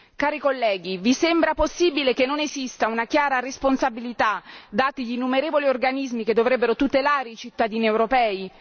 Cari colleghi, vi sembra possibile che non esista una chiara responsabilità, dati gli innumerevoli organismi che dovrebbero tutelare i cittadini europei?